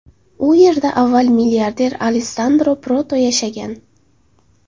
U yerda avval milliarder Alessandro Proto yashagan.